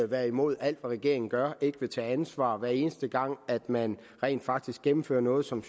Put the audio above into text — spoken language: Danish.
være imod alt hvad regeringen gør og ikke tage ansvar hver eneste gang man rent faktisk gennemfører noget som